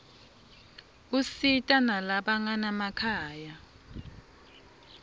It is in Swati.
usita nalabanganamakhaya